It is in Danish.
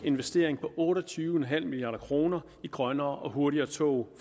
investering på otte og tyve en halv milliard kroner i grønnere og hurtigere tog